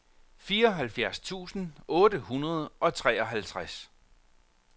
fireoghalvfjerds tusind otte hundrede og treoghalvtreds